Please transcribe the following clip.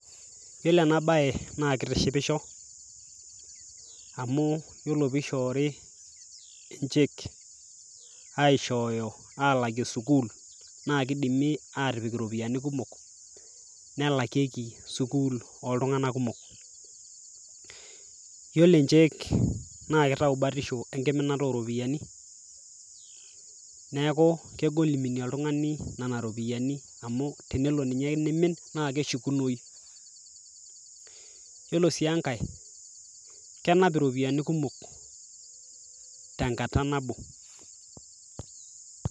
Yiolo enabae naa kitishipisho, amu yiolo pishoori e cheque, aishooyo alakie sukuul, na kidimi atipik iropiyiani kumok, nelakieki sukuul oltung'anak kumok. Yiolo e cheque, naa kitau batisho enkiminata oropiyiani, neeku kegol iminie oltung'ani nena ropiyaiani amu tenelo ninye nimin, na keshukunoyu. Yiolo si enkae, kenap iropiyiani kumok tenkata nabo.